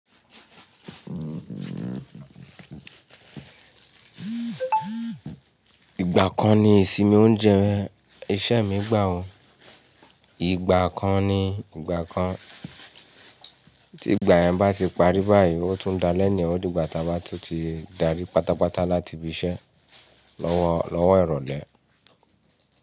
Ìgbà kan ni ìsinmi oúnjẹ iṣẹ́ mi gbà ọ́, ìgbà kan ni ìgbà kan tí ìgbà yẹn bá ti parí báyìí, ó tún da lẹ́ẹ̀ni ọdún ìgbà táa bá tun ti darí pátápátá láti ibi iṣẹ́ lọ́wọ́ lọ́wọ́ ìrọ̀lẹ́.